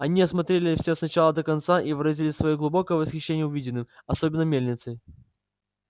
они осмотрели всё с начала до конца и выразили своё глубокое восхищение увиденным особенно мельницей